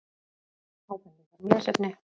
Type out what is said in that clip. Ábendingar um lesefni: